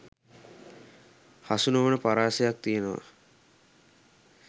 හසු නොවන පරාසයක් තියෙනවා